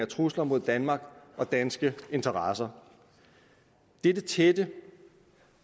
trusler mod danmark og danske interesser dette tætte